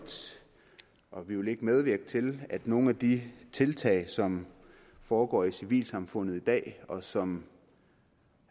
og vi vil ikke medvirke til at nogle af de tiltag som foregår i civilsamfundet i dag og som